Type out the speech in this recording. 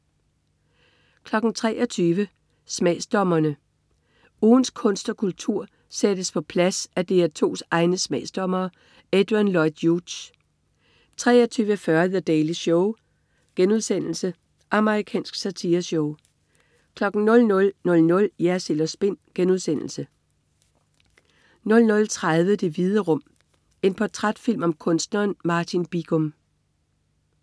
23.00 Smagsdommerne. Ugens kunst og kultur sættes på plads af DR2's egne smagsdommere. Adrian Lloyd Hughes 23.40 The Daily Show.* Amerikansk satireshow 00.00 Jersild & Spin* 00.30 Det Hvide Rum. En portrætfilm om kunstneren Martin Bigum